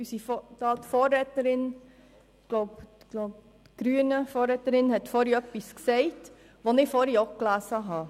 Die Vorrednerin vonseiten der Grünen hat etwas gesagt, was ich vorhin auch gelesen habe: